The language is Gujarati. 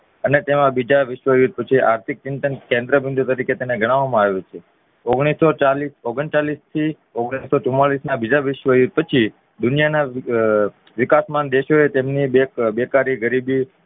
અને તેમાં બીજા વિશ્વ યુદ્ધ પછી આર્થિક ચિંત કેન્દ્ર બિંદુ તરીકે તેને ગણાવવામાં આવ્યું છે ઓગણીસો ચાલીસ ઓગણચાલીસ થી ઓગણીસો ચુમ્માલીસ ના બીજા વિશ્વયુદ્ધ પછી દુનિયાના વિકાસમાન દેશો એ તેમની બેકારી ગરીબી